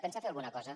pensa fer alguna cosa